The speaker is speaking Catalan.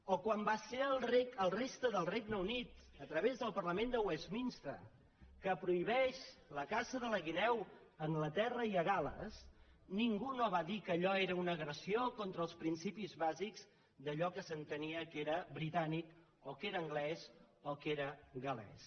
o quan va ser la resta del regne unit a través del parlament de westminster que prohibeix la caça de la guineu a anglaterra i a gal·les ningú no va dir que allò era una agressió contra els principis bàsics d’allò que s’entenia que era britànic o que era anglès o que era gal·lès